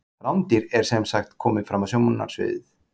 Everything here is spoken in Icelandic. Rándýr er sem sagt komið fram á sjónarsviðið.